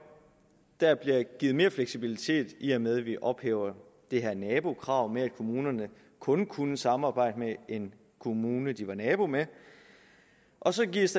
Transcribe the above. der bliver givet mere fleksibilitet i og med at vi ophæver det her nabokrav med at kommunerne kun kunne samarbejde med en kommune de var nabo med og så gives